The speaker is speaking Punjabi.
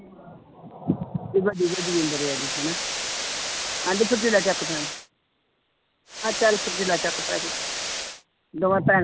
ਵੀ ਵੱਡੀ ਵੱਡੀ ਉਮਰ ਆ ਇਹਦੀ ਹਨਾ ਕਹਿੰਦੀ ਫਿਰ ਚੱਕ ਪੈਣਾ ਮੈਂ ਚੱਲ ਚੁੱਕ ਪੈ ਜਾਈਂ ਦੋਵੇਂ ਭੈਣ